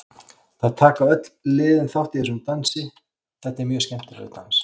Það taka öll liðin þátt í þessum dansi, þetta er mjög skemmtilegur dans.